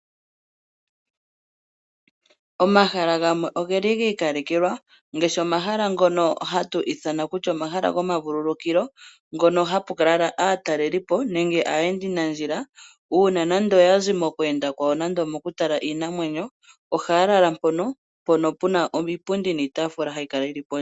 Omahala gamwe oge li gi ikalekelwa ngaashi omahala ngono hatu ithana omahala gomavululukilo ngono hapu kala aatalelipo nenge aayendanandjila uuna nande oya zi mokweenda kwawo nande omokutala iinamwenyo, ohaa lala mpono pu na iipundi niitafula hayi kala yili pondje.